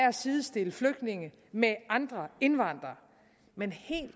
at sidestille flygtninge med andre indvandrere men helt